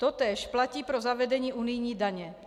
Totéž platí pro zavedení unijní daně.